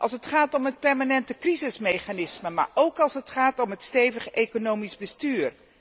Als het gaat om het permanente crisismechanisme, maar ook als het gaat om een stevig economisch bestuur.